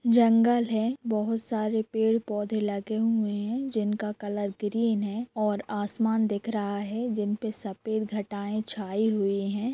जंगल है बहुत सारे पेड़ पौधे लगे हुए है जिन का कलर ग्रीन है और आसमान दिख रहा है जिनपे सफ़ेद घटाएं छाई हुई है।